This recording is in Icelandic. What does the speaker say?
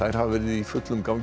hafa verið í fullum gangi í